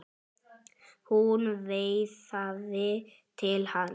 Hún veifaði til hans.